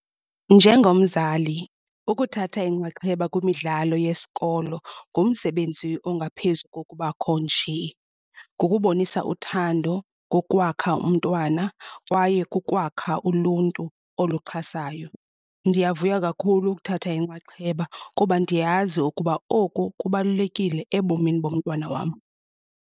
Njengomzali ukuthatha inxaxheba kwimidlalo yesikolo ngumsebenzi ongaphezu kokubakho njee. Ngokubonisa uthando kokwakha umntwana kwaye kukwakha uluntu oluxhasayo. Ndiyavuya kakhulu ukuthatha inxaxheba kuba ndiyazi ukuba oku kubalulekile ebomini bomntwana wam.